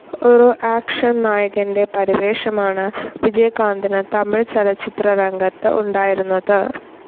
ഒരു ആക്ഷൻ നായകൻ്റെ പരിവേഷമാണ് വിജയകാന്തിന് തമിഴ് ചലച്ചിത്രരംഗത്ത് ഉണ്ടായിരുന്നത്.